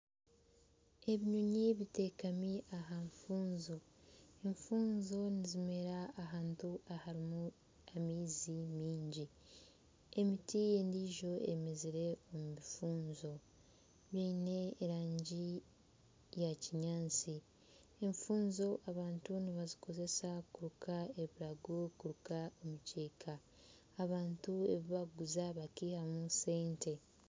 Ebinyonyi biteekami aha nfunjo. Enfunjo nizimera ahantu ahari amaizi mingi. Emiti endiijo emezire omu bifunjo biine erangi eya kinyaatsi. Enfunjo abantu nibazikozesa kuruka ebirago kuruka emikyeka, abantu ebi barikuguza bakaihamu sente.